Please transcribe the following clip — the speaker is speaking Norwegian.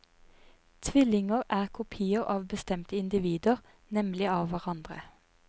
Tvillinger er kopier av bestemte individer, nemlig av hverandre.